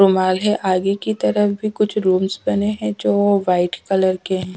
रुमाल है आगे की तरफ भी कुछ रूम्स बने हैं जो वाइट कलर के हैं।